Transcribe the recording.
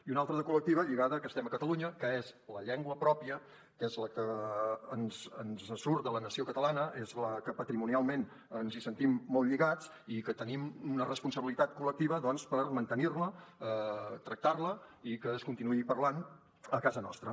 i una altra de col·lectiva lligada a que estem a catalunya que és la llengua pròpia que és la que ens surt de la nació catalana és amb la que patrimonialment ens sentim molt lligats i que tenim una responsabilitat col·lectiva doncs per mantenir la tractar la i que es continuï parlant a casa nostra